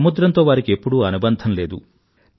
సముద్రంతో వారికి ఎప్పుడూ అనుబంధం లేదు